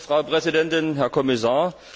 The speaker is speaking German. Frau Präsidentin, Herr Kommissar!